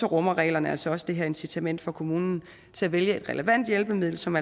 rummer reglerne altså også det her incitament for kommunen til at vælge et relevant hjælpemiddel som